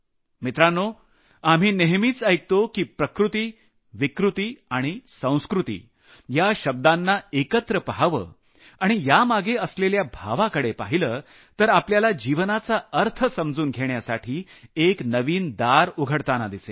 मित्रांनो आपण नेहमीच ऐकत आलो की प्रकृती विकृती आणि संस्कृती या शब्दांना एकत्रित अभ्यासाव आणि यामागे असलेल्या भावाकडे पाहिलं तर आपल्याला जीवनाचा अर्थ समजून घेण्यासाठी एक नवीन दार उघडतांना दिसेल